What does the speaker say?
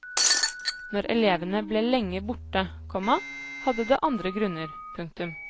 Når elevene ble lenge borte, komma hadde det andre grunner. punktum